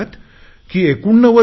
ते म्हणतात की 89